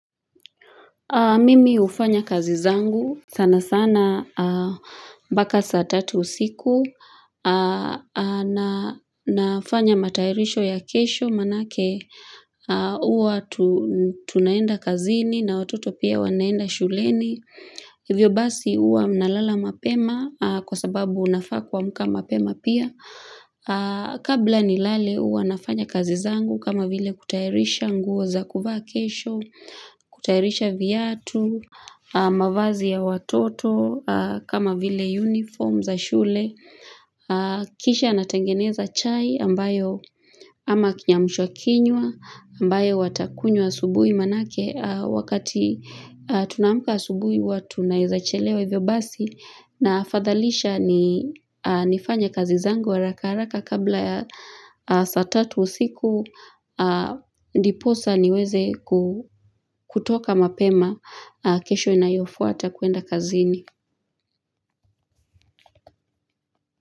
Mimi ufanya kazi zangu sana sana mbaka saa tatu usiku na nafanya matairisho ya kesho manake uwa tunaenda kazini na watoto pia wanaenda shuleni. Hivyo basi uwa mnalala mapema kwa sababu unafaa kuamka mapema pia. Kabla nilale uwa nafanya kazi zangu kama vile kutayarisha nguo za kuvaa kesho, kutayarisha viatu, mavazi ya watoto kama vile uniform za shule. Kisha natengeneza chai ambayo ama kiyamusha kinywa ambayo watakunywa asubui manake wakati tunaamuka asubui huwa tunaezachelewa hivyo basi na afadhalisha ni nifanye kazizangu haraka haraka kabla ya saa tatu usiku ndiposa niweze kutoka mapema kesho inayofuata kuenda kazini.